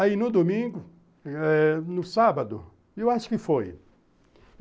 Aí, no domingo, no sábado, eu acho que foi.